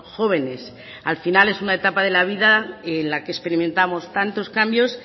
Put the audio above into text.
jóvenes al final es una etapa de la vida en la que experimentamos tantos cambios